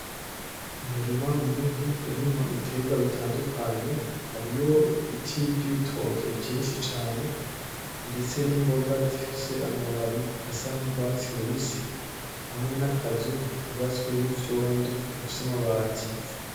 Umurima munini urimwo ibiterwa bitandukanye hariyo ibiti vy’ibitoke vyinshi cane ndetse n’imboga zifise amababi zisa n’urwatsi rubisi hamwe n’akazu kubatse n’ivyondo gafise amabati.